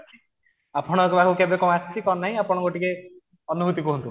ଆପଣଙ୍କ ପାଖକୁ କେବେ କଣ ଆସିଛି କଣ ନାହିଁ ଆପଣଙ୍କ ଟିକେ ଅନୁଭୂତି କୁହନ୍ତୁ